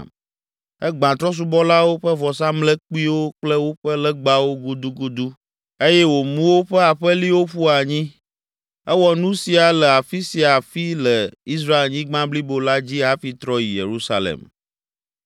Egbã trɔ̃subɔlawo ƒe vɔsamlekpuiwo kple woƒe legbawo gudugudu eye wòmu woƒe aƒeliwo ƒu anyi. Ewɔ nu sia le afi sia afi le Israelnyigba blibo la dzi hafi trɔ yi Yerusalem.